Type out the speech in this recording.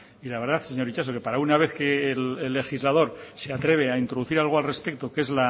y la verdad señor itxaso que para una vez que el legislador se atreve a introducir algo al respecto que es